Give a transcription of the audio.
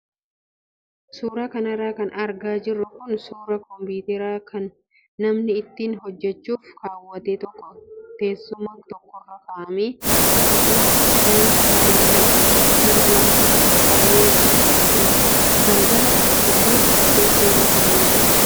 Suuraa kanarra kan argaa jirru kun suuraa kompiitaraa kan namni ittiin hojjachuuf kaawwate tokko teessuma tokkorra kaa'amee akkasumas qodaan shaayii lama nama lamaaf qophaayee bilbila waliin teessoo irra kaa'amee jira.